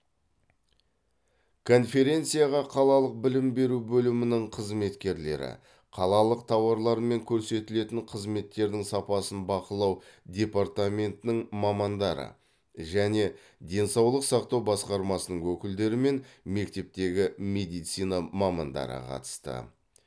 конференцияға қалалық білім беру бөлімінің қызметкерлері қалалық тауарлар мен көрсетілетін қызметтердің сапасын бақылау департаментінің мамандары және денсаулық сақтау басқармасының өкілдері мен мектептегі медицина мамандары қатысты